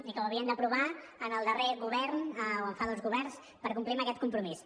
i que ho havien d’aprovar en el darrer govern o fa dos governs per complir amb aquest compromís